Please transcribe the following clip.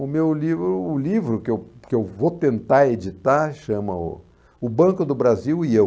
O meu livro o livro que eu que eu vou tentar editar chama o O Banco do Brasil e Eu.